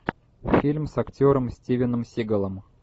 фильм с актером стивеном сигалом